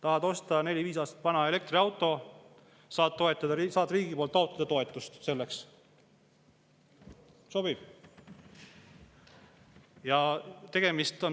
Tahad osta neli-viis aastat vana elektriauto, saad riigilt taotleda selleks toetust.